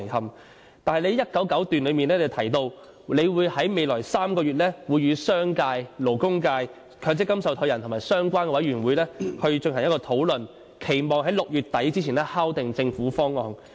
你在施政報告第199段提到，你會在未來3個月與商界、勞工界、強積金受託人和相關委員會進行討論，期望在6月底前敲定政府方案。